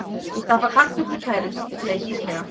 Ég stappa kartöflu kæruleysislega.